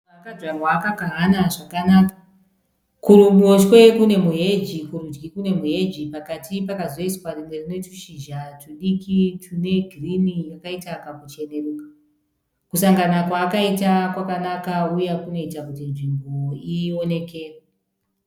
Maruva akadyarwa akakahana zvakanaka. Kuruboshe kune muheji , kurudyi kune muheji pakati pakazoiswa rimwe rinetushiza twudiki twune girini yakaita kakucheneruka. Kusangana kwaakaita kwakanaka uye kunoita kuti nzvimbo iwonekere.